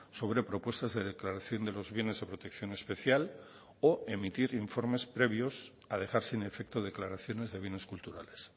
sobre propuestas de declaración de los bienes de protección especial o emitir informes previos a dejar sin efecto declaraciones de bienes culturales